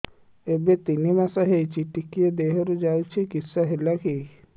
ଏବେ ତିନ୍ ମାସ ହେଇଛି ଟିକିଏ ଦିହରୁ ଯାଉଛି କିଶ ହେଲାକି